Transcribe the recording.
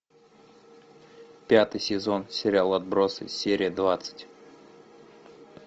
пятый сезон сериал отбросы серия двадцать